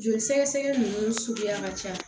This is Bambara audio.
Joli sɛgɛsɛgɛ nunnu suguya ka ca